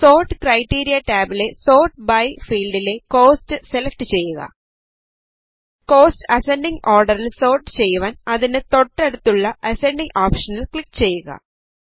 sort criteria ടാബിലെ sort by ഫീൽഡിലെ cost select ചെയ്യുക കോസ്റ്റ് അസൻഡിംഗ് ഓർഡറിൽ സോർട്ട് ചെയ്യുവാൻ അതിനു തോട്ടടുത്തുള്ള അസൻഡിംഗ് ഓപ്ഷനിൽ ക്ലിക് ചെയ്യുക